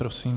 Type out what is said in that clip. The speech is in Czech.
Prosím.